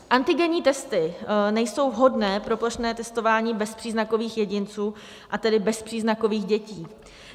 Antigenní testy nejsou vhodné pro plošné testování bezpříznakových jedinců, a tedy bezpříznakových dětí.